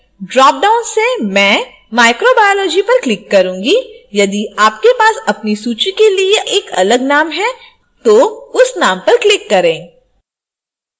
dropdown से मैं microbiology पर क्लिक करूँगी